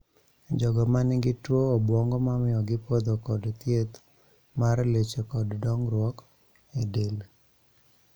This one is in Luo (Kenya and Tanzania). Jogo manigi tuo obwongo mamiyo gipodho kod thiedh mar leche kod dongruok e del